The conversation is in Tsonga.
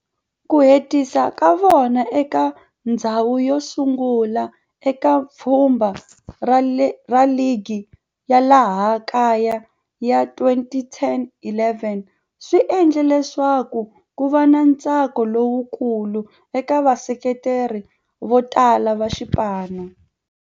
Ku hetisa ka vona eka ndzhawu yosungula eka pfhumba ra ligi ya laha kaya ya 2010-11 swi endle leswaku kuva na ntsako lowukulu eka vaseketeri votala va xipano.